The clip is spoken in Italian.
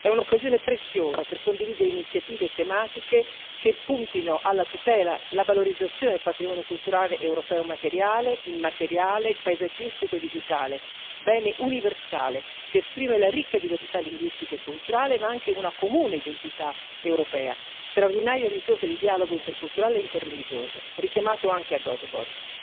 È un'occasione preziosa per condividere iniziative tematiche che puntino alla tutela e alla valorizzazione del patrimonio culturale europeo materiale, immateriale, paesaggistico e digitale, bene universale che esprime la ricca diversità linguistica e culturale ma anche una comune identità europea, straordinaria risorsa di dialogo interculturale e interreligioso, come richiamato anche a Göteborg.